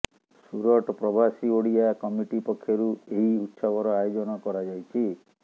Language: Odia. ସୁରଟ ପ୍ରବାସୀ ଓଡିଆ କମିଟି ପକ୍ଷରୁଏହି ଉତ୍ସବର ଆୟୋଜନ କରାଯାଇଛି